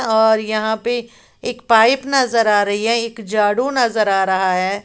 और यहां पे एक पाइप नजर आ रही है एक झाड़ू नजर आ रहा है।